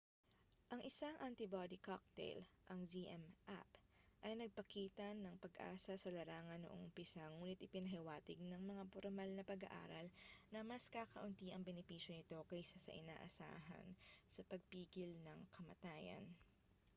ang isang antibody cocktail ang zmapp ay nagpakita ng pag-asa sa larangan noong umpisa ngunit ipinahiwatig ng mga pormal na pag-aaral na mas kakaunti ang benepisyo nito kaysa sa inaasahan sa pagpigil ng kamatayan